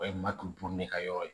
O ye matu ka yɔrɔ ye